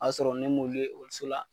O b'a sɔrɔ ne m'olu ye ekɔliso la